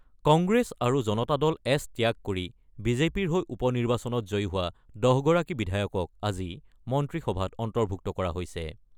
কংগ্ৰেছ আৰু জনতা দল এছ ত্যাগ কৰি বিজেপিৰ হৈ উপ নিৰ্বাচনত জয়ী হোৱা ১০ গৰাকী বিধায়কক আজি মন্ত্ৰীসভাত অন্তৰ্ভুক্ত কৰা হৈছে।